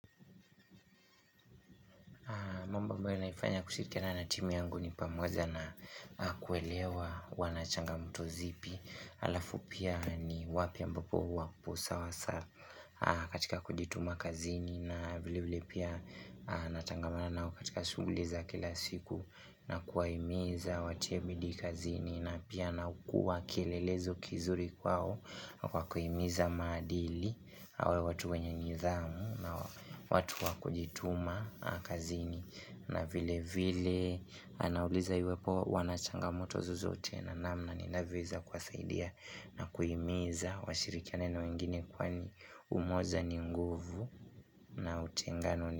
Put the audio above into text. Mambo ambayo naifanya kushirikina na timu yangu ni pamoja na kuelewa wanachangamoto zipi Alafu pia ni wapi ambapo wapo sawasawa katika kujituma kazini na vile vile pia natangamana nao katika shughuli za kila siku na kuwahimiza watie bidii kazini na pia na kuwa kielelezo kizuri kwao na kwa kuhimiza maadili awe watu wenye nithamu na watu wakujituma kazini na vile vile Anauliza iwepo wanachangamoto zozote na namna ninavyoweza kuwasaidia na kuhimiza washirikiane na wengini kwani umoja ni nguvu na utengano ni.